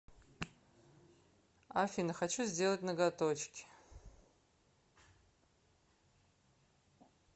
афина хочу сделать ноготочки